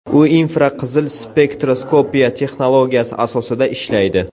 U infraqizil spektroskopiya texnologiyasi asosida ishlaydi.